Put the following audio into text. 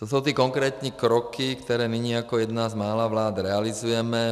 Co jsou ty konkrétní kroky, které nyní jako jedna z mála vlád realizujeme?